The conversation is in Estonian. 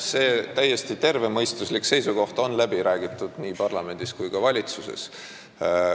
See täiesti tervemõistuslik seisukoht on läbi räägitud nii parlamendis kui ka valitsuses.